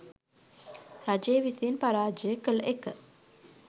රජය විසින් පරාජය කළ එක